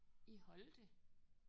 I Holte?